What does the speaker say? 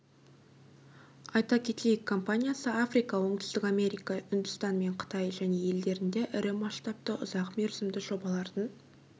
айта кетейік компаниясы африка оңтүстік америка үндістан мен қытай және елдерінде ірі масштабты ұзақ мерзімді жобалардың